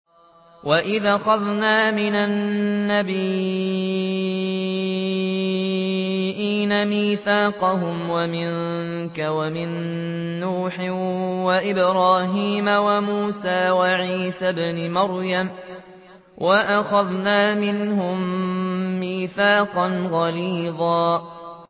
وَإِذْ أَخَذْنَا مِنَ النَّبِيِّينَ مِيثَاقَهُمْ وَمِنكَ وَمِن نُّوحٍ وَإِبْرَاهِيمَ وَمُوسَىٰ وَعِيسَى ابْنِ مَرْيَمَ ۖ وَأَخَذْنَا مِنْهُم مِّيثَاقًا غَلِيظًا